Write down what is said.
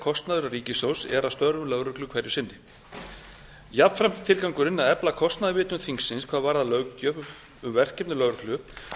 kostnaður ríkissjóðs er af störfum lögreglu hverju sinni jafnframt er tilgangurinn að efla kostnaðarvitund þingsins hvað varðar löggjöf um verkefni lögreglu